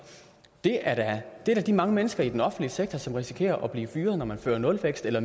er da de mange mennesker i den offentlige sektor som risikerer at blive fyret når man fører nulvækst eller